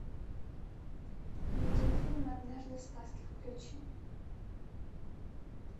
видеофильм однажды в сказке включи